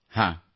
ಆಯ್ತು ಸರ್